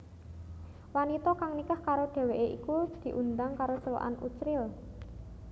Wanita kang nikah karo dheweké iku diundhang karo celukan Uchril